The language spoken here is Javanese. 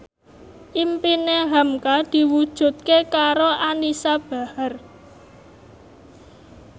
impine hamka diwujudke karo Anisa Bahar